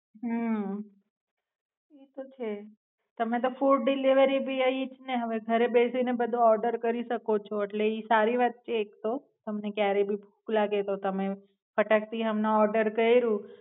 હમ ઈ તો છે, તમે તો ફુડ ભી ઈજ ને હવે ઘરે બેસીને Order કરી શકો છો અટલે ઈ સારી વાત છે એક તો તમને ક્યારે ભી ભૂખ લાગેતો તમે ફાટક થી હમણાં Order કયરૂ.